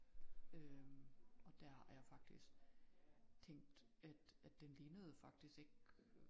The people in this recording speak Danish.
Øh og der er jeg faktisk tænk at at den lignede faktisk ikke